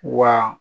Wa